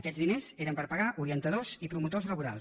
aquests diners eren per pagar orientadors i promotors laborals